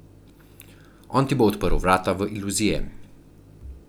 On ti bo odprl vrata v iluzije.